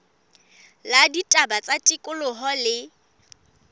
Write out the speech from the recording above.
la ditaba tsa tikoloho le